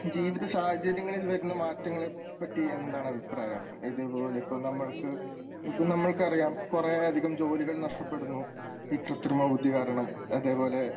ജീവിത സാഹചര്യങ്ങളിൽ വരുന്ന മാറ്റങ്ങളെ പറ്റി എന്താണ് അഭിപ്രായം?. ഇതേപോലെ ഇപ്പോൾ നമ്മൾക്ക് ഇപ്പോൾ നമുക്കറിയാം കുറേ അധികം ജോലികൾ നഷ്ടപ്പെടുന്നു ഈ കൃത്രിമ ബുദ്ധി കാരണം അതുപോലെ